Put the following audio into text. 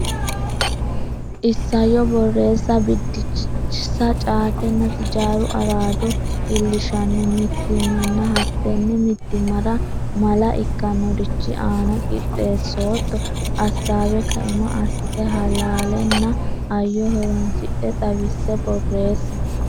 Isayyo Borreessa Biddissa Caatenna sijaaru araado iillishshanno mitiimmanna hattenne mitiimmara mala ikkannorichi aana qixxeessootto assaawe kaima assite halaalenna hayyo horonsidhe xawisse borreessi.